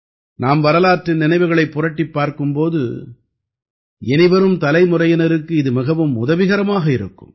நாம் வரலாற்றின் நினைவுகளைப் புரட்டிப் பார்க்கும் போது இனிவரும் தலைமுறையினருக்கு இது மிகவும் உதவிகரமாக இருக்கும்